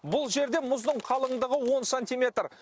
бұл жерде мұздың қалыңдығы он сантиметр